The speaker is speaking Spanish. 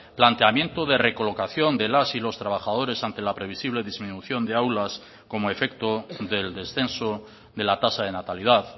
planteamiento de recolocación de las y los trabajadores ante la previsible disminución de aulas como efecto del descenso de la tasa de natalidad